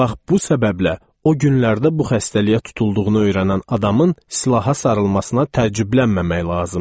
Bax bu səbəblə o günlərdə bu xəstəliyə tutulduğunu öyrənən adamın silaha sarılmasına təəccüblənməmək lazımdır.